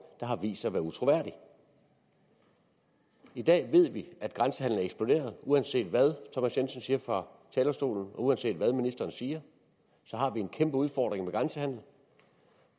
der har vist sig at være utroværdige i dag ved vi at grænsehandelen er eksploderet og uanset hvad thomas jensen siger fra talerstolen og uanset hvad ministeren siger har vi en kæmpe udfordring med grænsehandelen